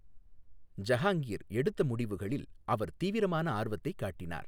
ஜஹாங்கிர் எடுத்த முடிவுகளில் அவர் தீவிரமான ஆர்வத்தைக் காட்டினார்.